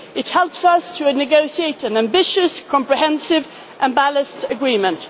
platform for TTIP. It helps us to negotiate an ambitious, comprehensive and